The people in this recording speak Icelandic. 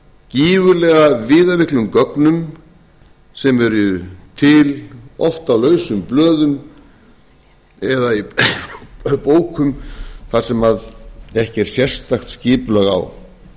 gífurlega viðamiklum gögnum sem eru til oft á lausum blöðum eða í bókum þar sem ekki er sérstakt skipulag á